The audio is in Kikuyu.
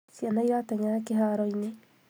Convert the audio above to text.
ciana irateng'era kiharoini